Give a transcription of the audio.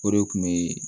O de kun be